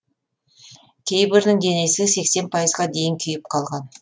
кейбірінің денесі сексен пайызға дейін күйіп қалған